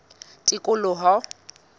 tikoloho